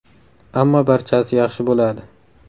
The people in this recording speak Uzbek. Ammo barchasi yaxshi bo‘ladi.